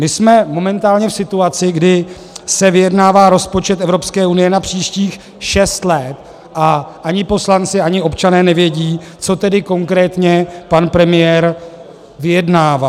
My jsme momentálně v situaci, kdy se vyjednává rozpočet Evropské unie na příštích šest let, a ani poslanci, ani občané nevědí, co tedy konkrétně pan premiér vyjednává.